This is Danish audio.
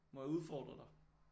Må jeg udfordre dig